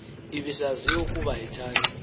ibisaziwa ukuba ayithandi